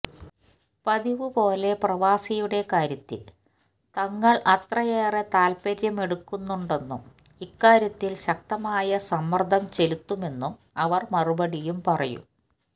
പതിവുപോലെ പ്രവാസിയുടെ കാര്യത്തിൽ തങ്ങൾ അത്രയേറെ താത്പര്യമെടുക്കുന്നുണ്ടെന്നും ഇക്കാര്യത്തിൽ ശക്തമായ സമ്മർദംചെലുത്തുമെന്നും അവർ മറുപടിയും പറയും